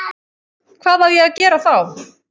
Hvað á ég að gera þá?